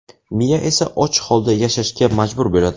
Miya esa och holda yashashga majbur bo‘ladi.